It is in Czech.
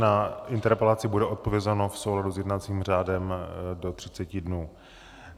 Na interpelaci bude odpovězeno v souladu s jednacím řádem do 30 dnů.